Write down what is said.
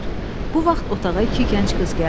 Bu vaxt otağa iki gənc qız gəldi.